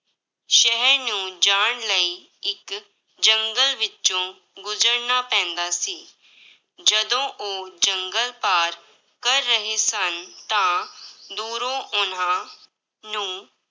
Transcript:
ਸ਼ਹਿਰ ਨੂੰ ਜਾਣ ਲਈ ਇੱਕ ਜੰਗਲ ਵਿੱਚੋਂ ਗੁਜ਼ਰਨਾ ਪੈਂਦਾ ਸੀ, ਜਦੋਂ ਉਹ ਜੰਗਲ ਪਾਰ ਕਰ ਰਹੇ ਸਨ, ਤਾਂ ਦੂਰੋਂ ਉਹਨਾਂ ਨੂੰ